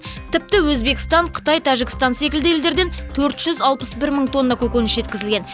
тіпті өзбекстан қытай тәжікстан секілді елдерден төрт жүз алпыс бір мың тонна көкөніс жеткізілген